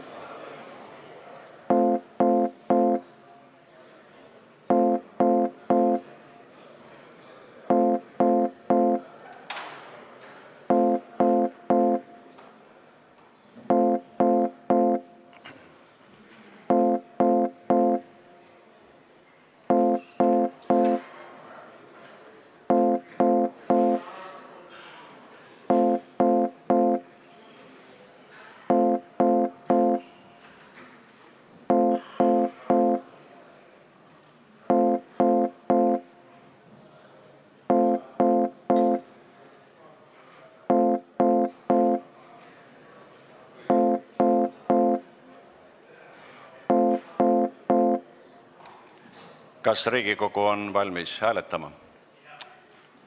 Kas Riigikogu on valmis hääletama?